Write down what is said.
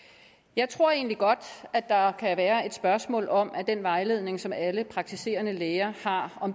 jeg tror egentlig godt at der kan være et spørgsmål om at den vejledning som alle praktiserende læger har